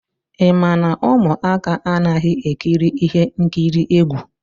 Ị ma na ụmụaka anaghị ekiri ihe nkiri egwu?